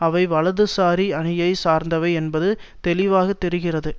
அவை வலது சாரி அணியை சார்ந்தவை என்பது தெளிவாக தெரிகிறது